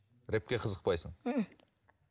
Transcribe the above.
рэпке қызықпайсың мхм